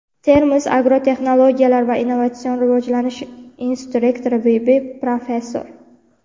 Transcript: Termiz agrotexnologiyalar va innovatsion rivojlanish instituti rektori v.b., professor;.